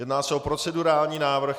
Jedná se o procedurální návrh.